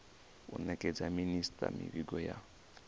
u nekedza minisita mivhigo ya